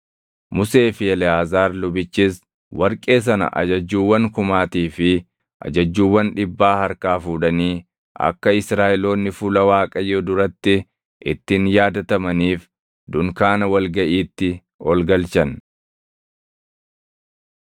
Musee fi Eleʼaazaar lubichis warqee sana ajajjuuwwan kumaatii fi ajajjuuwwan dhibbaa harkaa fuudhanii akka Israaʼeloonni fuula Waaqayyoo duratti ittiin yaadatamaniif dunkaana wal gaʼiitti ol galchan.